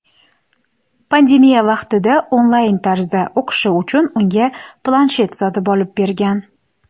Pandemiya vaqtida onlayn tarzda o‘qishi uchun unga planshet sotib olib bergan.